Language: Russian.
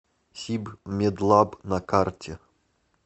сибмедлаб на карте